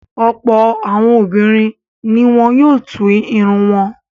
Ọ̀pọ̀ àwọn obìnrin ni wọ́n yóò tú irun wọn.